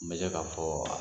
N bɛ se k'a fɔ